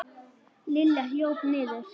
Lilla hljóp niður.